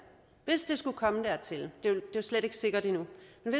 skulle komme dertil det er jo slet ikke sikkert endnu